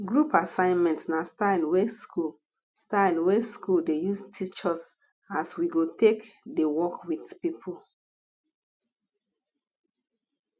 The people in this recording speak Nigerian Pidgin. group assignment na style wey school style wey school dey use teach us as we go take dey work with people